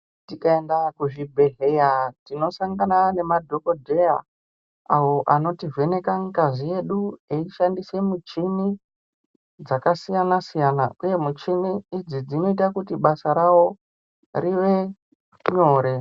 Tikayenda kuzvibhedhleya, tinosangana nemadhokodheya, awo anotivheneka ngazi yedu eyishandise muchini dzakasiyana siyana, uye michini idzi dzinoyita kuti basa rawo rive nyore.